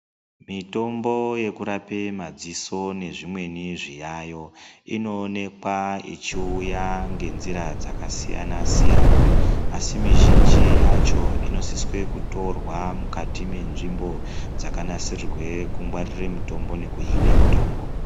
Mitombo yekurape madziso nezvimweni zviyayo, inowonekwa echiwuya ngenzira dzakasiyana siyana. Asi mizhinji yacho inosiswe kutorwa mukati menzvimbo dzakanasirirwe kungwarire mitombo nekuhine mitombo.